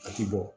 A ti bɔ